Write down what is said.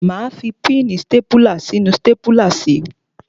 Máa fi píìnì stápùlà sínú stápùlà si.